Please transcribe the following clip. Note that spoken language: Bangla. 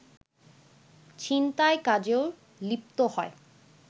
ছিনতাই কাজেও লিপ্ত হয়